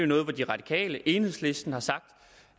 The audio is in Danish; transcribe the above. noget de radikale og enhedslisten har sagt